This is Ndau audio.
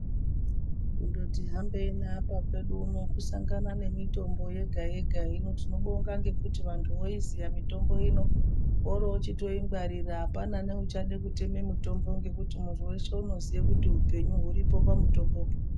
Kundoti hambei apa kwedu uno kungosangana nemitombo yega yega. Hino tinobonga ngekuti vantu voiziya mitombo ino vorochitoingwarira apana neuchade kutema mitombo munhu weshe unoziya kuti hupenyu huripo pamutombopo.